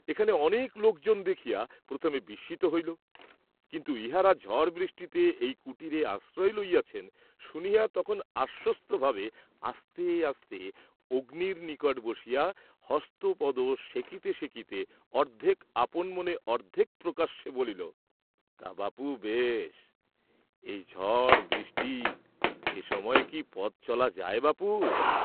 এখানে অনেক লোকজন দেখিয়া প্রথমে বিস্মিত হইল, কিন্তু ইহারা ঝড় বৃষ্টিতে এই কুটিরে আশ্রয় লইয়াছেন শুনিয়া তখন আশ্বস্তভাবে আস্তে আস্তে অগ্নির নিকট বসিয়া হস্তপদ সেঁকিতে সেঁকিতে অর্ধেক আপনমনে অর্ধেক প্রকাশ্যে বলিল, "তা বাপু বেশ, এই ঝড় বৃষ্টি, এ সময়ে কি পথ চলা যায় বাপু!"